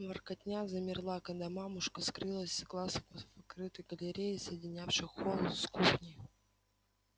воркотня замерла когда мамушка скрылась с глаз в крытой галерее соединявшей холл с кухней